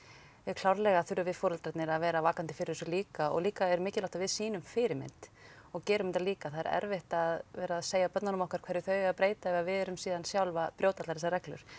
klárlega þurfum við foreldrarnir að vera vakandi fyrir þessu líka og líka er mikilvægt að við sýnum fyrirmynd og gerum þetta líka það er erfitt að vera að segja börnunum okkar hverju þau eigi að breyta ef að við erum síðan sjálf að brjóta allar þessar reglur